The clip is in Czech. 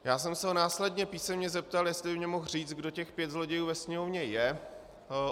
Já jsem se ho následně písemně zeptal, jestli by mi mohl říct, kdo těch pět zlodějů ve Sněmovně je.